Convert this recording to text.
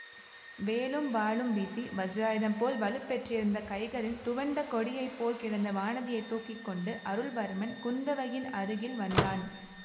வேலும் வாளும் வீசி வஜ்ராயுதம் போல் வலுப்பெற்றிருந்த கைகளில் துவண்ட கொடியை போல் கிடந்த வானதியைத் தூக்கி கொண்டு அருள்வர்மன் குந்தவையின் அருகில் வந்தான்